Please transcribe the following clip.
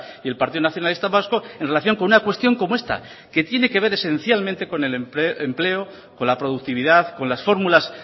y el partido nacionalista vasco en relación con una cuestión como esta que tiene que ver esencialmente con el empleo con la productividad con las fórmulas